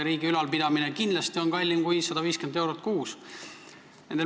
Riigi ülalpidamine on kindlasti kallim kui 150 eurot kuus.